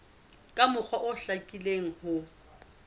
ka mokgwa o hlakileng ho